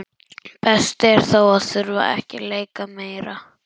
Best er þó að þurfa ekki að leika meira.